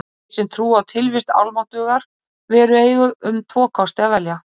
Þeir sem trúa á tilvist almáttugrar veru eiga um tvo kosti að velja.